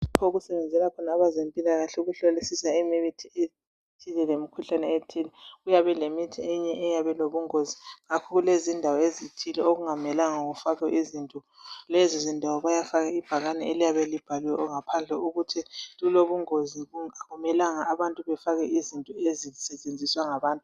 lapho okusebenzela khona abezempilakahle ukuhlolisisa imithi lemikhuhlane ethile uyabe elemihi eyinye eyabe ilobungozi kakhulu izindawo ezithile okungamelanga kufakwe izinto lezi zindawo kuyafakwa ibhakane eliyabe libhaliwe ngaphandle ukuthi lilobongozi akumelanga abantu befake izinto ezisetshenziswa ngabantu